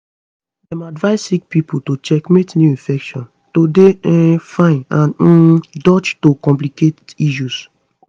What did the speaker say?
dem advise sick pipo to checkmate new infections to dey um fine and um dodge to complicate issue